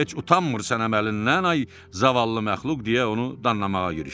Heç utanmırsan əməlindən, ay zavallı məxluq deyə onu danlamağa girişdim.